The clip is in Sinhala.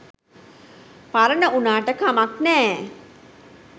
පරණ වුණාට කමක් නෑ